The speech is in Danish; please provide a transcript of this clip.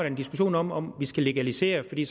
en diskussion om om vi skal legalisere det fordi